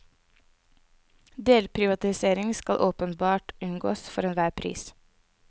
Delprivatisering skal åpenbart unngås, for enhver pris.